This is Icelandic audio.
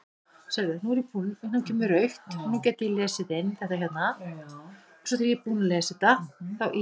Nokkrir komust heim eftir öðrum leiðum, ýmist á undan eða eftir stóra hópnum.